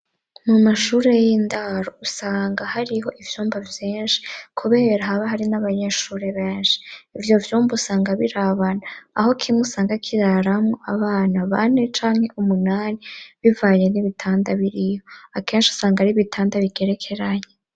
Mu mashure y'indaro usanga hariho ivyumba vyinshi kubera haba hari n'abanyeshure benshi. Ivyo vyumba usanga birabana aho kimwe usanga kiraramwo abana bane canke umunani, bivanye n'ibitanda biriho. Akenshi usanga ari ibitanda bigerekeranye.